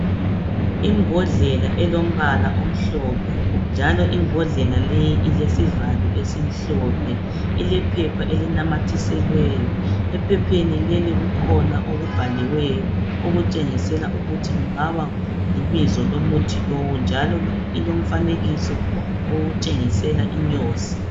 imbodlela elombala omhlophe njalo imbodlela leyi ilesivalo esimhlophe ilephepha elinamathiselweyo ephepheni leli kukhona okubhaliweyo okutshengisela ukuthi kungaba libizo lomuthi lowu njalilomfanekiso otshengisela inyosi